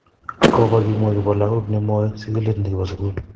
Kobo kimwa kibo lagok nemoi sigilet kibo sugul.